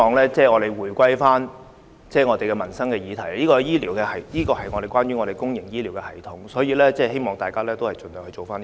主席，我希望大家回歸民生議題的討論，這個議題關於公營醫療系統，希望大家盡量集中處理。